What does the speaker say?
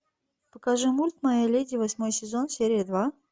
покажи мульт моя леди восьмой сезон серия два